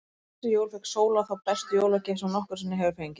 Fyrir þessi jól fékk Sóla þá bestu jólagjöf sem hún nokkru sinni hefur fengið.